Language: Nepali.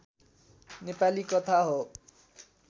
नेपाली कथा हो